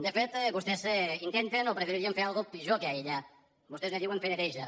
de fet vostès intenten o preferixen fer una cosa pitjor que aïllar vostès ne diuen fer neteja